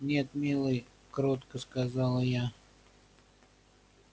нет милый кротко сказала я